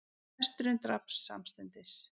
Hesturinn drapst samstundis